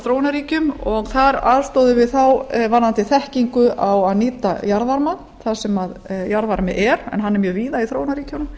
þróunarríkjum og þar aðstoðar við þá varðandi þekkingu á að nýta jarðvarma þar sem jarðvarmi er en hann er mjög víða í þróunarríkjunum